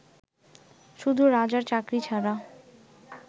শুধু রাজার চাকরী ছাড়া